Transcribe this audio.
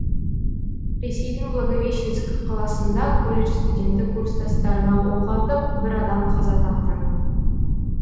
ресейдің благовещенск қаласында колледж студенті курстастарына оқ атып бір адам қаза тапты